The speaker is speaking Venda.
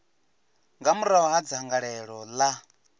nga murahu ha dzangalelo ḽa